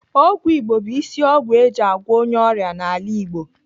Ọgwụ Igbo bụ isi ọgwụ eji agwọ onye ọrịa n'ala Igbo.